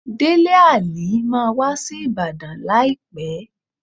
Délé Àlí máa wá sí Ìbàdàn láìpẹ́.